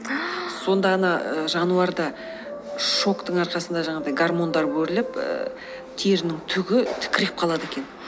сонда ана жануарда шоктың арқасында жаңағыдай гармондар бөлініп ііі терінің түгі тікірейіп қалады екен